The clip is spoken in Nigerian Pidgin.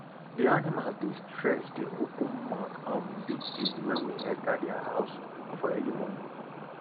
di animals dey stretch dey open mouth um bigbig when we enter dia house for early morning